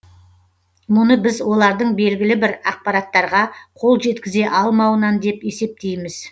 мұны біз олардың белгілі бір ақпараттарға қол жеткізе алмауынан деп есептейміз